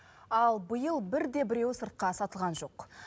ал биыл бірде біреуі сыртқа сатылған жоқ